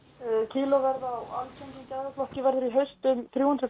kílóverð verður í haust um þrjú hundruð